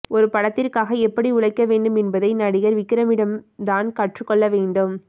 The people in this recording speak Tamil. ஒரு படத்திற்காக எப்படி உழைக்க வேண்டும் என்பதை நடிகர் விக்ரமிடம் தான் கற்றுக்கொள்ள வேண்டும்